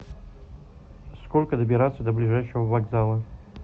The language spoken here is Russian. сколько добираться до ближайшего вокзала